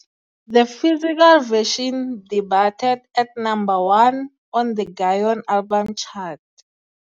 The physical version debuted at number one on the Gaon Album Chart.